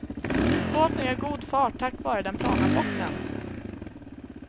Båten gör god fart tack vare den plana bottnen.